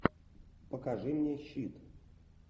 покажи мне щит